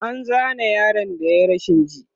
an Zane yaron da yayi rashin ji